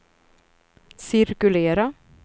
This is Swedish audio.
cirkulera